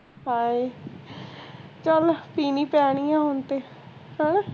ਹਾਏ, ਚੱਲ ਪੀਣੀ ਪੈਣੀ ਹੈ ਹੁਣ ਤੇ